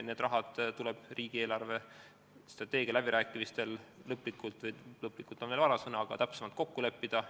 See raha tuleb riigi eelarvestrateegia läbirääkimistel täpsemalt kokku leppida.